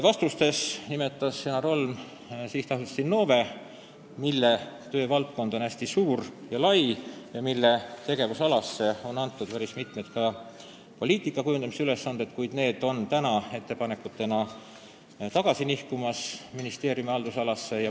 Vastustes nimetas Janar Holm sihtasutust Innove, mille töövaldkond on hästi suur ja lai ning mille tegevusalasse on antud ka päris mitmed poliitikakujundamise ülesanded, kuid need nihkuvad ettepanekutena tasapisi tagasi ministeeriumi haldusalasse.